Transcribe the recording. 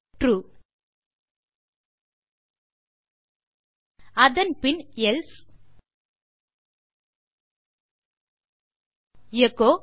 true அதன் பின் else echo